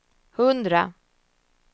hundra